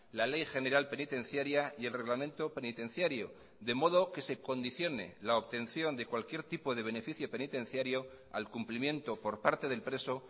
la ley general penitenciaria y el reglamento penitenciario de modo que se condicione la obtención de cualquier tipo de beneficio penitenciario al cumplimiento por parte del preso